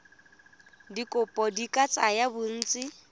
dikopo di ka tsaya bontsi